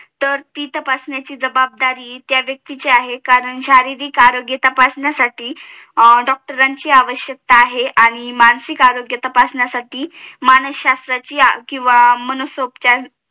तर ती तपासण्याची जवाबदारी त्या व्यक्तीची आहे कारण शारीरिक आरोग्य तपासण्यासाठी डॉक्टरांची आवश्यकता आहे आणि मानसिक आरोग्य तपासण्यासाठी मांनसशाश्त्राची अं किंवा मानसूपचार